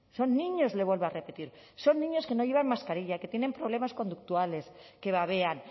son niños le vuelvo a repetir son niños que no llevan mascarilla que tienen problemas conductuales que babean